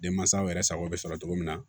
Denmansaw yɛrɛ sago bɛ sɔrɔ cogo min na